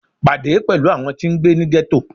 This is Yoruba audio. Pade pẹlu awọn ti ngbe ni ghetto